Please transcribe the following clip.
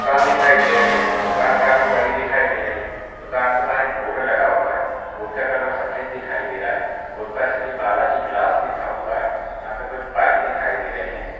दुकान दिखाई दे रही है दुकान काफी बड़ी दिखाई दे रही है दुकान के बाहर एक बोर्ड लगा हुआ है बोर्ड का कलर सफ़ेद दिखाई दे रहा है बोर्ड पर श्री बालाजी ग्लास लिखा हुआ है यहां पर कुछ बाइक दिखाई दे रही है।